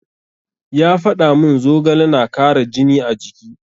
Ya faɗa mun zogale na kara jini a jiki.